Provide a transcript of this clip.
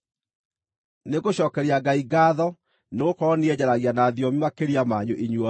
Nĩngũcookeria Ngai ngaatho nĩgũkorwo niĩ nĩnjaragia na thiomi makĩria manyu inyuothe.